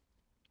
DR2